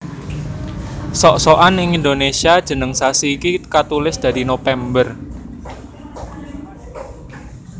Sok sokan ing Indonésia jeneng sasi iki katulis dadi Nopember